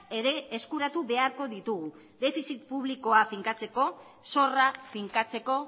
ere eskuratu beharko ditugu defizit publikoa finkatzeko zorra finkatzeko